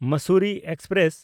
Mussoorie express